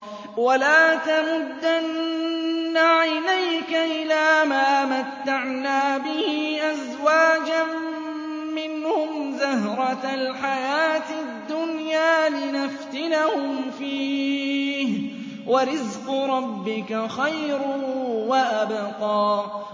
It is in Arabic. وَلَا تَمُدَّنَّ عَيْنَيْكَ إِلَىٰ مَا مَتَّعْنَا بِهِ أَزْوَاجًا مِّنْهُمْ زَهْرَةَ الْحَيَاةِ الدُّنْيَا لِنَفْتِنَهُمْ فِيهِ ۚ وَرِزْقُ رَبِّكَ خَيْرٌ وَأَبْقَىٰ